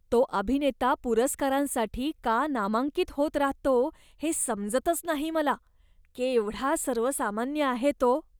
तो अभिनेता पुरस्कारांसाठी का नामांकित होत राहतो हे समजतच नाही मला. केवढा सर्वसामान्य आहे तो.